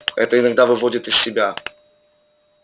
это иногда выводит из себя